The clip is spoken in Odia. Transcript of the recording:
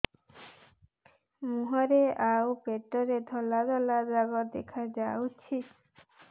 ମୁହଁରେ ଆଉ ପେଟରେ ଧଳା ଧଳା ଦାଗ ଦେଖାଯାଉଛି